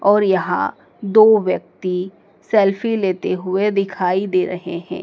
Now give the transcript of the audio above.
और यहाँ दो व्यक्ति सेल्फी लेते हुए दिखाई दे रहे हैं।